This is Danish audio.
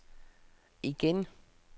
igen